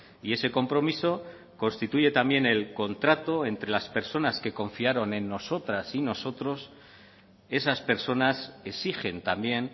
y ese compromiso constituye también el contrato entre las personas que confiaron en nosotras y nosotros esas personas exigen también